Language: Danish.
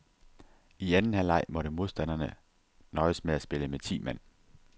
I anden halvleg måtte modstanderne nøjes med at spille med ti mand.